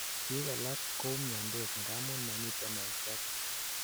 biik alak koumiandos ngamun momiten en shapit